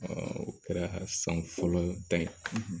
o kɛra san fɔlɔ ta ye